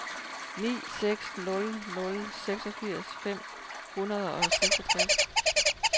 ni seks nul nul seksogfirs fem hundrede og seksogtres